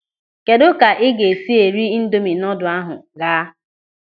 Kedụ ka ị ga-esi eri ịndomị noodle ahụ ga?